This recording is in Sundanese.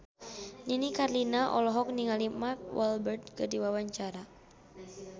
Nini Carlina olohok ningali Mark Walberg keur diwawancara